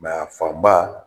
Mɛ a fan ba